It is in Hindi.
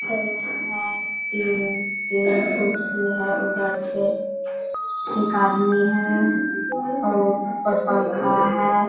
सैलून है। तीन-तीन कुर्सी है उधर से एक आदमी हैं और ऊपर पंखा है।